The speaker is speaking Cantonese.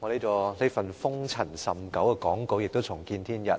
我這份塵封已久的發言稿亦重見天日，